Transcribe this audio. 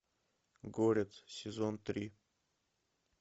горец сезон три